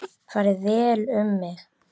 Farið vel um mig?